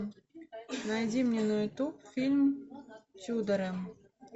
найди мне на ютуб фильм тьюдоры